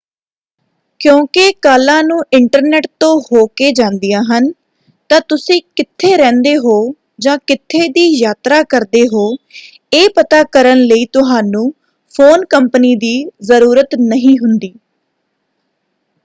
ਕਿਉਂਕਿ ਕਾਲਾਂ ਨੂੰ ਇੰਟਰਨੈਟ ਤੋਂ ਹੋ ਕੇ ਜਾਂਦੀਆਂ ਹਨ ਤਾਂ ਤੁਸੀਂ ਕਿੱਥੇ ਰਹਿੰਦੇ ਹੋ ਜਾਂ ਕਿੱਥੇ ਦੀ ਯਾਤਰਾ ਕਰਦੇ ਹੋ ਇਹ ਪਤਾ ਕਰਨ ਲਈ ਤੁਹਾਨੂੰ ਫ਼ੋਨ ਕੰਪਨੀ ਦੀ ਜਰੂਰਤ ਨਹੀਂ ਹੁੰਦੀ।